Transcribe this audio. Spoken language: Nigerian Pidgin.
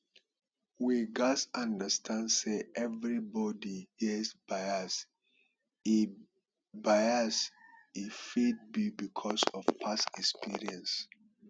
we gats understand sey everybody get bias hin bias e fit be because of past experience